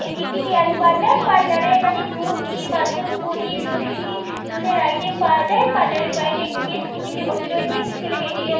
এটি একটি dairy parlour পার্লারে এখানে দুধ ঘি মাখন পনির লস্যি দুধের আইটেম পাওয়া যায় পার্লার এর বাইরে একটি মেয়ে স্কুটি তে বসে রয়েছে একটি ছেলে হেঁটে যা--